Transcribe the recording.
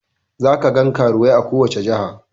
Za kagan karuwai a kowace jiha